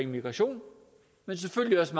migration men selvfølgelig også